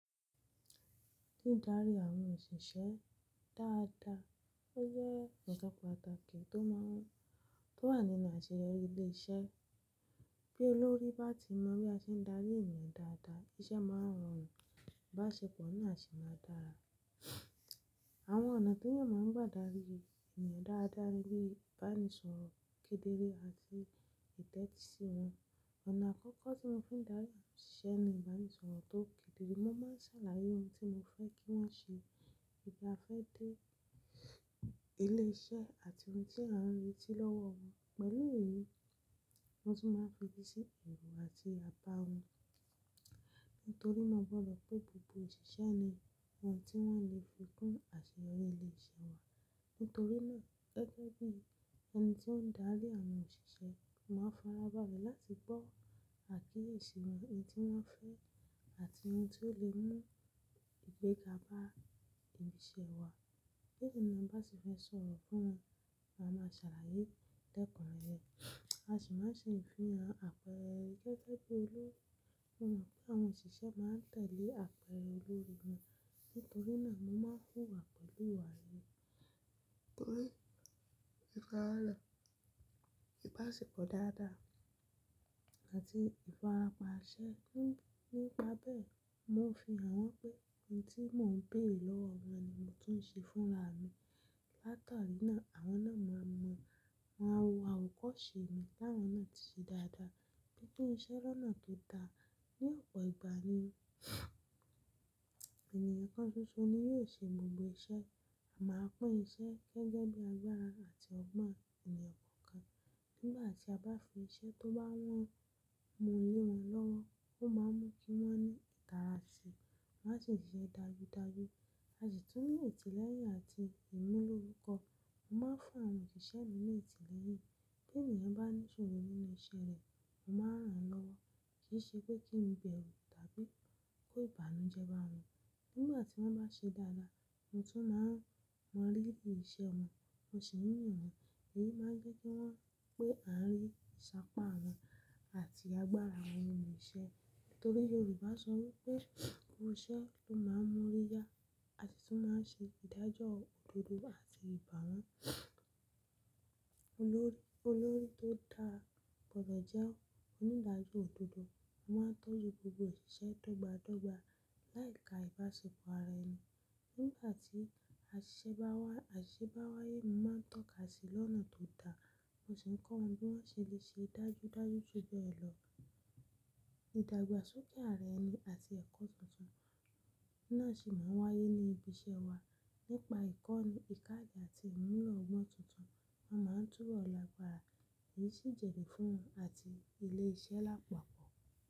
Dídarí àwọn òṣìṣẹ́ dáadáa o jẹ́ nkan pàtàkì tó wà nínú àṣeyọrí ilé iṣẹ́. Bí olórí bá ti mọ bí a ṣe ń darí ènìyàn dáadáa, iṣẹ́ máa rọrùn, ìbáṣepọ̀ náà sì máa dára. Àwọn ọ̀nà tí èèyàn máa ń gbà darí ènìyàn dáadáa ni bí wọ́n bá ń sọ̀rọ̀ kedere àti ìtẹ́tí sí wọn. Ọ̀nà àkọ́kọ́ tí mo fi ń darí àwọn òṣìṣẹ́ ni ìbánisọ̀rọ̀ tó kedere. Mo máa ń ṣàlàyé ohun tí mo fẹ́ kí wọ́n ṣe, ibi a fẹ́ dé ni eléṣé àti ohun tí a n rétí lọ́wọ́ wọn. Pẹ̀lú èyí ni mo fi máa ń fi eti si ẹ̀rọ àti abá wọn. Nítorí mo pé gbogbo òṣìṣẹ́ ni àwọn tí wọ́n lè fi kún àṣeyọrí ilé iṣẹ́ wa. Nítorí náà gẹ́gẹ́ bí ẹni tí ó ń darí àwọn òṣìṣẹ́, mo máa ń farabalẹ̀ láti gbọ́ àkíyèsí wọn, ohun tí wọ́n fẹ́ àti ohun tó lè mú ìgbéga bá ibi iṣẹ́ wa. Kẹ́kọ̀ọ́ náà bá ti fẹ́ sọ̀rọ̀ fún wọn, a máa ṣàlàyé tẹ́kùn rẹ̀, a sì máa ń ṣe ìfihàn àpẹẹrẹ gẹ́gẹ́ bí olórí mọ̀ pé àwọn òṣìṣẹ́ máa ń tẹ̀lé àpẹẹrẹ olórí wọn. Nítorí náà mo máa ń hùwà pẹ̀lú ìwà mi, nítorí ìfàálà, ìbáṣepọ̀ dáadáa àti ìfarapa ṣe. Nígbà bẹ́ẹ̀, mo ń fi hàn wọ́n pé ohun tí mò ń pè lọ́wọ́ wọn ni mo tún ń ṣe fúnra mi. Látàrí náà, àwọn náà máa mọ̀, wọ́n á wo àwòkọ́ṣe mi kí àwọn náà tó ṣe dáadáa. Gẹ́gẹ́ bí iṣẹ́ lọ́nà tó dáa, ní ọ̀pọ̀ ìgbà ni ènìyàn kan ṣoṣo ni yóò ṣe gbogbo iṣẹ́, máa pín iṣẹ́ gẹ́gẹ́ bí agbára àti ọgbọ́n ènìyàn kọ̀ọ̀kan. Nígbà tí a bá fi iṣẹ́ tó bá wọ́n mu yé wọn lọ́wọ́, ó máa ń mú kí wọ́n ní ìtara sí i, wọ́n sì máa ń ṣe é dájúdájú. A sì tún ní ìtẹ̀lẹ́yìn àti ìmúlò orúkọ. Mo máa ń fún àwọn òṣìṣẹ́ mi ní ìtẹ̀lẹ́yìn. Bí ènìyàn bá ní ìṣòro nínú iṣẹ́ rẹ̀, mo máa rán an lọ́wọ́. Kì í ṣe pé kí n bẹ̀ òò tàbí kó ìbànújẹ́ bá wọn. Nígbà tí wọ́n bá ṣe dáadáa, n tó máa ń mọ̀ lórí iṣẹ́ wọn, mo sì ń rìn wọ́n. Èyí máa ń jẹ́ kí wọ́n pé à ń rí ìṣàpá wọn àti agbára àwọn olùṣẹ́. Nítorí Yorùbá sọ wípé, "Oríṣẹ́ ló máa ń mú ọrí já," àti tó máa ń ṣe ìdájọ́ òdodo àti ìbá wọn. Olórí tóe dáa gbọdọ̀ jẹ́ onígbájú òdodo, ó máa ń tọ́jú gbogbo òṣìṣẹ́ dọ́gba dọ́gba láì ka ìbáṣepọ̀ ara ẹni. Nígbà tí àṣíṣe bá wáyé, mo máa ń tọ́ka sí i lọ́nà tó dáa, mo sì ń kọ́ wọn bí wọ́n ṣe lè ṣe é dájúdájú sójú ẹ̀ lọ. Idàgbàsókè ara ẹni àti ẹ̀kọ́ tuntun náà sì máa ń wáyé ní ibi iṣẹ́ wa. Nípa ìkọ́ni, ìkádì àti ìmúlò ọgbọ́n tuntun, wọ́n máa ń túbọ̀ lágbára, èyí sì ń jèrè fún wọn àti ilé iṣẹ́ lápapọ̀.